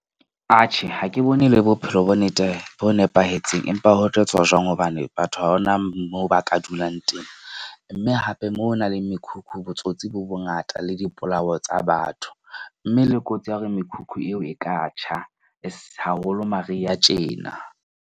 Atjhe, ha ke bone e le bophelo bonnete bo nepahetseng, empa ho tlo tswa jwang? Hobane batho ha hona moo ba ka dulang teng. Mme hape moo ho nang le mekhukhu, botsotsi bo bongata le dipolao tsa batho. Mme le kotsi ya hore mekhukhu eo e ka tjha haholo mariha tjena.